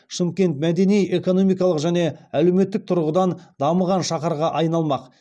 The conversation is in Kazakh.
шымкент мәдени экономикалық және әлеуметтік тұрғыдан дамыған шаһарға айналмақ